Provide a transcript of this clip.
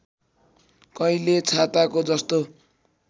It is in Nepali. कहिले छाताको जस्तो